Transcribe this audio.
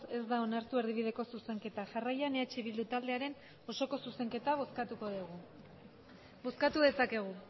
ez da onartu erdibideko zuzenketa jarraian eh bildu taldearen osoko zuzenketa bozkatuko dugu bozkatu dezakegu